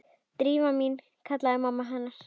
Drífa mín- kallaði pabbi hennar.